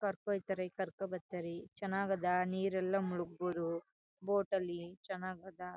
ಕರ್ಕೊ ಹೊಯ್ತಾರೆ ಕರ್ಕೊ ಬರ್ತಾರೆ ಚನ್ನಾಗ್ ಅಧ ನೀರು ಎಲ್ಲ ಮುಳುಗ್ಬಹುದು ಬೋಟ್ ಅಲ್ಲಿ ಚನ್ನಾಗ್ ಅಧ .